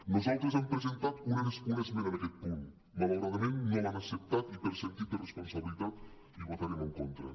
nosaltres hem presentat una esmena en aquest punt malauradament no l’han acceptat i per sentit de responsabilitat hi votarem en contra